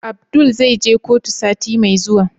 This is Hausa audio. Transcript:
Abdul zai je kotu sati Mai zuwa?